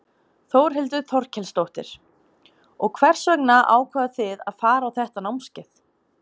Þórhildur Þorkelsdóttir: Og hvers vegna ákváðuð þið að fara á þetta námskeið?